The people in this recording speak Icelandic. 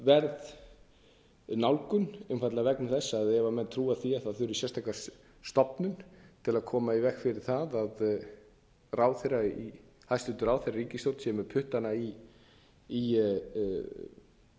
áhugaverð nálgun einfaldlega vegna þess að ef menn trúa því að það þurfi sérstaka stofnun til að koma í veg fyrir það að hæstvirtur ráðherra í ríkisstjórn sé með puttana í